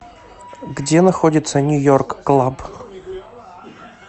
где находится нью йорк клаб